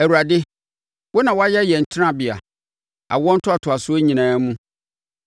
Awurade, wo na woayɛ yɛn tenabea awoɔ ntoatoasoɔ nyinaa mu.